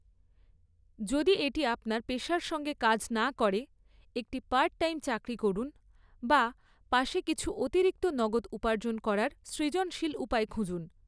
যদি এটি আপনার পেশার সঙ্গে কাজ না করে, একটি পার্ট টাইম চাকরি করুন বা পাশে কিছু অতিরিক্ত নগদ উপার্জন করার সৃজনশীল উপায় খুঁজুন।